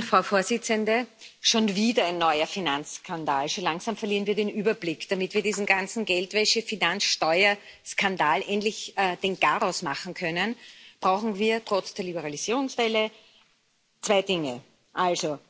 Frau Präsidentin! Schon wieder ein neuer Finanzskandal. So langsam verlieren wir den Überblick. Damit wir diesem ganzen Geldwäsche Finanzsteuer Skandal endlich den Garaus machen können, brauchen wir trotz der Liberalisierungswelle zwei Dinge